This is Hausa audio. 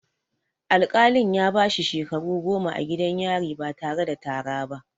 Al-kalin ya bashi shekaru goma a gidan yari ba tare da tara ba